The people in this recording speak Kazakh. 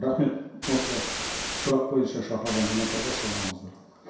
рахмет осы сұрақ бойынша шақырылған азаматтарға сау болыңыздар